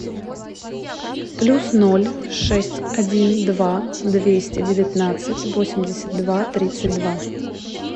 плюс ноль шесть один два двести девятнадцать восемьдесят два тридцать два